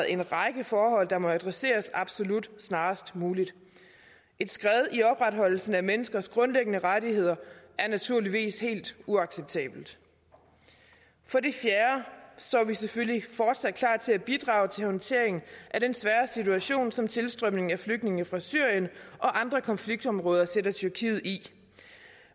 en række forhold der må adresseres absolut snarest muligt et skred i opretholdelsen af menneskers grundlæggende rettigheder er naturligvis helt uacceptabelt for det fjerde står vi selvfølgelig fortsat klar til at bidrage til håndteringen af den svære situation som tilstrømningen af flygtninge fra syrien og andre konfliktområder sætter tyrkiet i